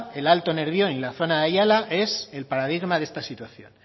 el alto nervión y la zona de ayala es el paradigma de esta situación